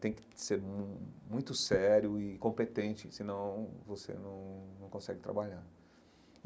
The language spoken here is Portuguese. Tem que ser mu muito sério e competente, senão você não não consegue trabalhar.